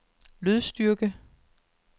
lydstyrke